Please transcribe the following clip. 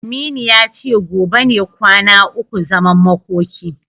Aminu ya ce gobe ne kwana ukun zaman makoki.